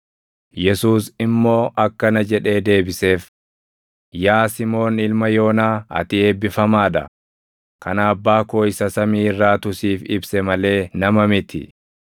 Yesuus immoo akkana jedhee deebiseef; “Yaa Simoon ilma Yoonaa, ati eebbifamaa dha; kana abbaa koo isa samii irraatu siif ibse malee nama miti.